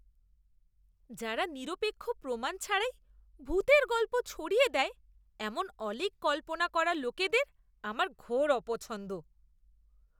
যারা নিরপেক্ষ প্রমাণ ছাড়াই ভূতের গল্প ছড়িয়ে দেয় এমন অলীক কল্পনা করা লোকেদের আমার ঘোর অপছন্দ।